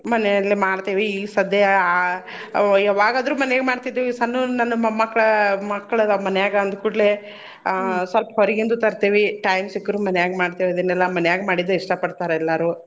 ಮನೇಲಿ ಮಾಡ್ತೇವಿ ಈಗ್ ಸದ್ಯ ಆ ಯವಾಗಾದ್ರೂ , ಮನ್ಯಾಗೆ ಮಾಡ್ತಿದ್ವಿ ಈ ಸನ್ನುವ್ ನನ್ ಮೊಮ್ಮಕ್ಳ್ ಮಕ್ಳ್ ಅದವ್ ಮನ್ಯಾಗ ಅಂದ್ ಕೂಡ್ಲೇ ಅಹ್ ಸ್ವಲ್ಪ ಹೊರಗಿಂದು ತರ್ತೀವಿ time ಸಿಕ್ರ್ ಮನ್ಯಾಗ ಮಾಡ್ತೇವಿ. ಇದನೆಲ್ಲ ಮನ್ಯಾಗ ಮಾಡಿದ್ ಇಷ್ಟ ಪಡ್ತಾರ್ ಎಲ್ಲಾರೂ.